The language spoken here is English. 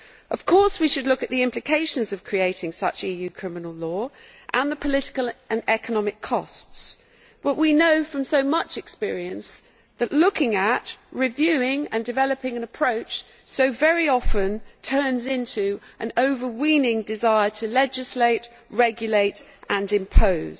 Of course we should look at the implications of creating such EU criminal law, and the political and economic costs, but we know from so much experience that looking at, reviewing and developing an approach so very often turns into an overweening desire to legislate, regulate and impose.